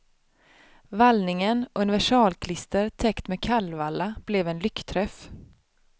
Vallningen, universalklister täckt med kallvalla, blev en lyckträff.